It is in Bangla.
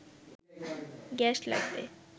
গ্যাস লাগবে